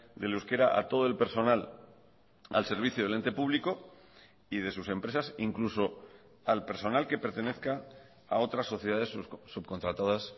del euskera a todo el personal al servicio del ente público y de sus empresas incluso al personal que pertenezca a otras sociedades subcontratadas